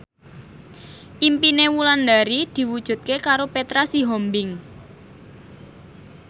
impine Wulandari diwujudke karo Petra Sihombing